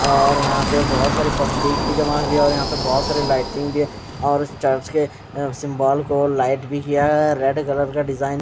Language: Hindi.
और यहां पर बहुत सारी पब्लिक भी जमा किया और यहां पर बहुत सारी लाइटिंग भी और चर्च के सिंबल को लाइट भी किया है। रेड कलर का डिजाइन --